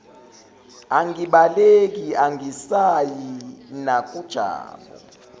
angibaleki angisayi nakujabu